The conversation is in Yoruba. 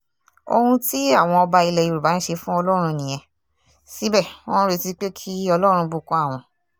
ohun tí àwọn ọba ilẹ̀ yorùbá ń ṣe fún ọlọ́run nìyẹn síbẹ̀ wọ́n ń retí pé kí ọlọ́run bùkún àwọn